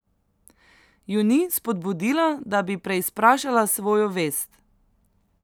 Ju ni spodbudila, da bi preizprašala svojo vest?